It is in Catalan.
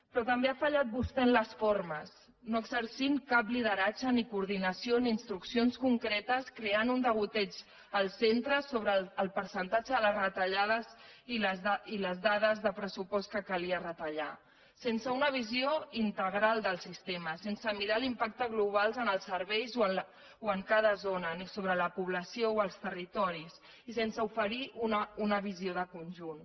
però també ha fallat vostè en les formes no exercint cap lideratge ni coordinació ni instruccions concretes creant un degoteig als centres sobre el percentatge de les retallades i les dades de pressupost que calia retallar sense una visió integral del sistema sense mirar l’impacte global en els serveis o en cada zona ni sobre la població o els territoris i sense oferir una visió de conjunt